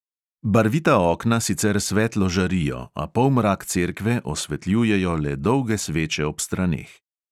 Barvita okna sicer svetlo žarijo, a polmrak cerkve osvetljujejo le dolge sveče ob straneh.